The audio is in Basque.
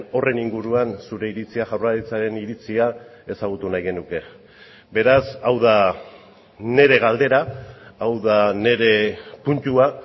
horren inguruan zure iritzia jaurlaritzaren iritzia ezagutu nahi genuke beraz hau da nire galdera hau da nire puntua